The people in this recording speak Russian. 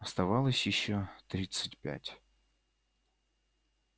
оставалось ещё тридцать пять